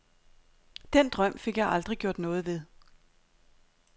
Den drøm fik jeg aldrig gjort noget ved.